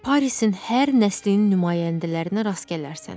Parisin hər nəslinin nümayəndələrinə rast gələrsən.